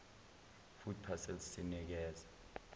food parcels sinekeza